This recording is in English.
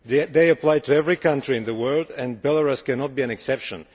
They apply to every country in the world, and Belarus cannot be an exception.